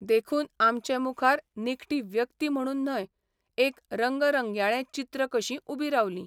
देखून आमचे मुखार निखटी व्यक्ती म्हणून न्हय, एक रंगरंगयाळें चित्र कशीं उबीं रावलीं.